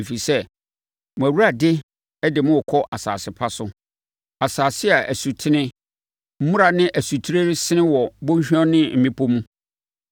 Ɛfiri sɛ, mo Awurade de mo rekɔ asase pa so—asase a asutene, mmura ne nsutire resene wɔ bɔnhwa ne mmepɔ mu;